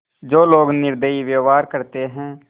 जो लोग निर्दयी व्यवहार करते हैं